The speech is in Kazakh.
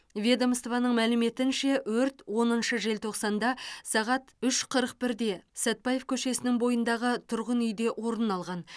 ведомствоның мәліметінше өрт оныншы желтоқсанда сағат үш қырық бірде сәтбаев көшесінің бойындағы тұрғын үйде орын алған